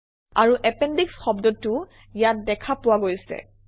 আৰু এপেণ্ডিশ শব্দটোও ইয়াত দেখা পোৱা গৈছে